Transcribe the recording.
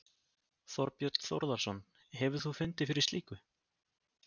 Þorbjörn Þórðarson: Hefur þú fundið fyrir slíku?